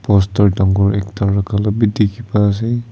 Poster dangor ekta rakha la bi dekhi pa ase.